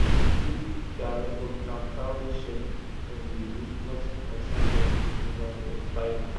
to keep dia record na cowry shell dem dey use nothing consine dem with paper or biro